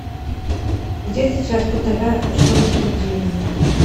где сейчас по тв что то спортивное